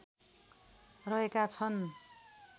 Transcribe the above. रहेका छन्